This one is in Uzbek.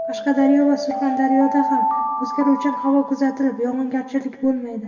Qashqadaryo va Surxondaryoda ham o‘zgaruvchan havo kuzatilib, yog‘ingarchilik bo‘lmaydi.